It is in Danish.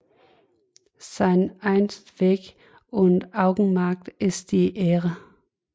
Sein Endzweck und Augemark ist die Ehre